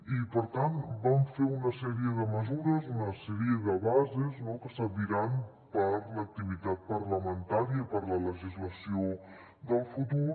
i per tant vam fer una sèrie de mesures una sèrie de bases no que serviran per a l’activitat parlamentària i per a la legislació del futur